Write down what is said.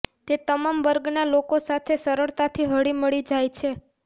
તે તમામ વર્ગના લોકો સાથે સરળતાથી હળી મળી જાય છે